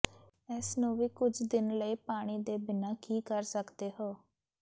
ਇਸ ਨੂੰ ਵੀ ਕੁਝ ਦਿਨ ਲਈ ਪਾਣੀ ਦੇ ਬਿਨਾ ਕੀ ਕਰ ਸਕਦੇ ਹੋ